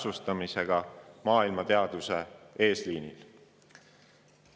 [Viited minu teadustööle leiate Eesti Teadusinfosüsteemist.